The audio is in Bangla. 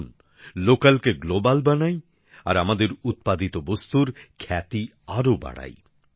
আসুন আমরা স্থানীয় পণ্যকে আন্তর্জাতিক বাজারে নিয়ে যাই আর আমাদের উৎপাদিত বস্তুর খ্যাতি আরও বাড়াই